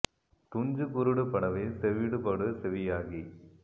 துஞ்சு குருடு படவே செவிடுபடு செவியாகி